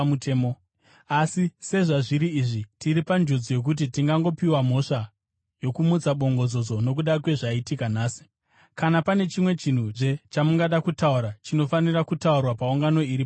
Asi sezvazviri izvi, tiri panjodzi yokuti tingangopiwa mhosva yokumutsa bongozozo nokuda kwezvaitika nhasi. Kana pane chimwezve chamungada kutaura, chinofanira kutaurwa paungano iri pamutemo.”